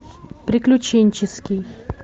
приключенческий